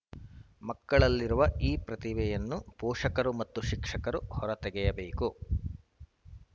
ಮಕ್ಕಳಲ್ಲಿರುವ ಈ ಪ್ರತಿಭೆಯನ್ನು ಪೋಷಕರು ಮತ್ತು ಶಿಕ್ಷಕರು ಹೊರತೆಗೆಯಬೇಕು